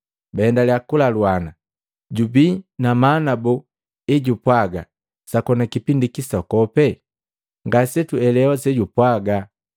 Baendaliya kulaluana, jubii na maana bo ejupwaga, ‘Sakoni kipindi kisokope?’ Ngasetuelewa sejupwaga.”